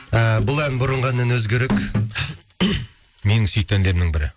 ііі бұл ән бұрынғы әннен өзгерек менің сүйікті әндерімнің бірі